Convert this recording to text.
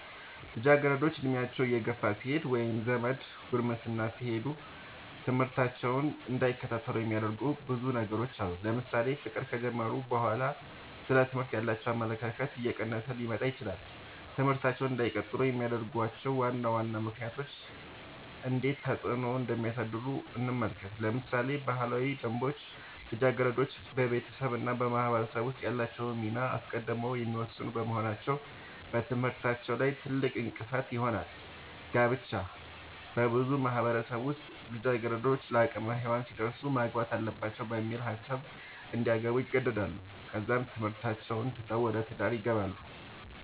ልጃገረዶች ዕድሜያቸው እየገፋ ሲሄድ ወይም ዘደ ጉርምስና ሲሄዱ ትምህርታቸውን እንዳይከታተሉ የሚያደርጉዋቸው ብዙ ነገሮች አሉ ለምሳሌ ፍቅር ከጀመሩ በኋላ ስለ ትምህርት ያላቸው አመለካከት እየቀነሰ ሊመጣ ይችላል ትምህርታቸውን እንዳይቀጥሉ የሚያደርጉዋቸው ዋና ዋና ምክንያቶች እንዴት ተፅዕኖ እንደሚያሳድሩ እንመልከት ለምሳሌ ባህላዊ ደንቦች ልጃገረዶች በቤተሰብ እና በማህበረሰብ ውስጥ ያላቸውን ሚና አስቀድመው የሚወስኑ በመሆናቸው በትምህርታቸው ላይ ትልቅእንቅፋት ይሆናል። ጋብቻ- በብዙ ማህበረሰቦች ውስጥ ልጃገረዶች ለአቅመ ሄዋን ሲደርሱ ማግባት አለባቸው በሚል ሀሳብ እንዲያገቡ ይገደዳሉ ከዛም ትምህርታቸውን ትተው ወደ ትዳር ይገባሉ።